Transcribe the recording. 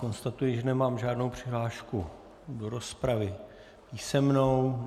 Konstatuji, že nemám žádnou přihlášku do rozpravy písemnou.